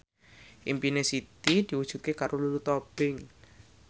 impine Siti diwujudke karo Lulu Tobing